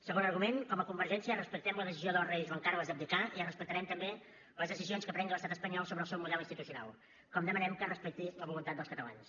segon argument com a convergència respectem la decisió del rei joan carles d’abdicar i respectarem també les decisions que prengui l’estat espanyol sobre el seu model institucional com demanem que es respecti la voluntat dels catalans